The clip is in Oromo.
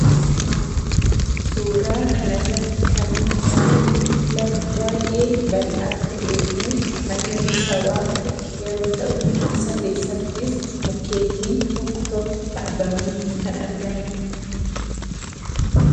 suuraa kan irratti kan nuti arginu lafa baay, ee bal'aa ta'ee fi magariisawaa ta'e yeroo ta'u isa keessattiis mukkeetiin tokko tokko dhaabamaniii kan argamadha.